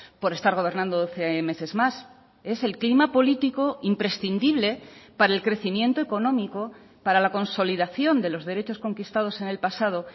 por estar gobernando doce meses más es el clima político imprescindible para el crecimiento económico para la consolidación de los derechos conquistados en el pasado